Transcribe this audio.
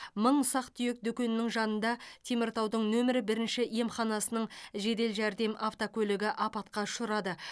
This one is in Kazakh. мың ұсақ түйек дүкенінің жанында теміртаудың нөмірі бірінші емханасының жедел жәрдем автокөлігі апатқа ұшырады